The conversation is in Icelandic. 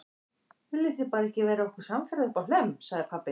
Viljið þið bara ekki verða okkur samferða uppá Hlemm, sagði pabbi.